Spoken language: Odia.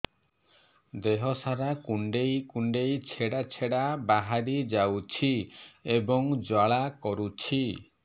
ଦେହ ସାରା କୁଣ୍ଡେଇ କୁଣ୍ଡେଇ ଛେଡ଼ା ଛେଡ଼ା ବାହାରି ଯାଉଛି ଏବଂ ଜ୍ୱାଳା କରୁଛି